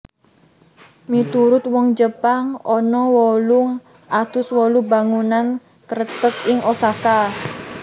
Miturut wong Jepang ana wolung atus wolu bangunan kreteg ing Osaka